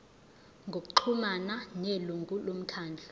ngokuxhumana nelungu lomkhandlu